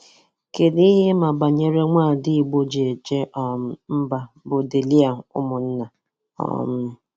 Kedụ ihe ị ma banyere ada Igbo ji eje um mba bụ Dehlia Umunna? um